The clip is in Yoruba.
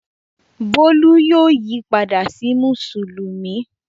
Bólú yóò yí padà sí Mùsùlùmí.